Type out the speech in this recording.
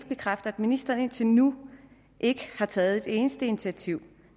bekræfte at ministeren indtil nu ikke har taget et eneste initiativ